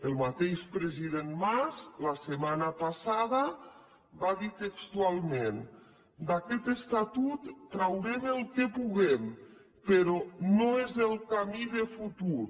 el mateix president mas la setmana passada va dir textualment d’aquest estatut traurem el que puguem però no és el camí de futur